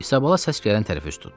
Isabala səs gələn tərəfə üz tutdu.